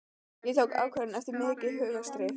Ég tók ákvörðun eftir mikið hugarstríð.